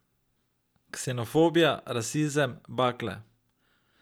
Ksenofobija, rasizem, bakle ...